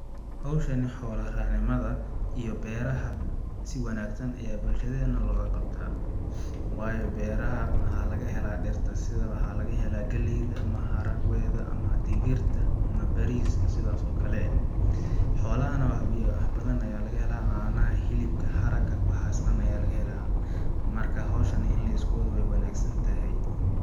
Hawshani xoola raac nimada iyo beeraha si wanaagsan ayaa bulshadeena looga qabtaa waayo beeraha waxaa laga helaa dhirta sida waxaa laga helaa galleyda, maharagwe da ama digirta ama baariska ama sidaas oo kale xoolaha na wax badan ayaa laga helaa caanaha ,hilibka ,haraga waxaas dhan ayaa laga helaa marka hawshani in lisku wado weey wanaag san tahay .